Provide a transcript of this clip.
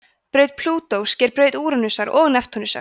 braut plútós sker braut úranusar og neptúnusar